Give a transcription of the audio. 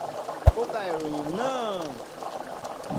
ó ka ìròyìn náà.